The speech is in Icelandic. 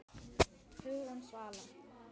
Hugrún Svala.